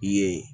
I ye